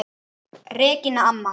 Regína amma.